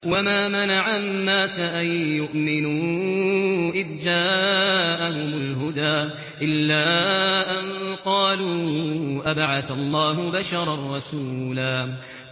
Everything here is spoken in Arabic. وَمَا مَنَعَ النَّاسَ أَن يُؤْمِنُوا إِذْ جَاءَهُمُ الْهُدَىٰ إِلَّا أَن قَالُوا أَبَعَثَ اللَّهُ بَشَرًا رَّسُولًا